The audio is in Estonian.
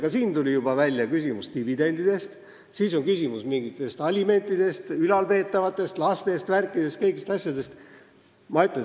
Ka siin tuli juba välja dividendide küsimus, siis on küsimus alimentidest, ülalpeetavatest, lastest ja värkidest, kõigist asjadest.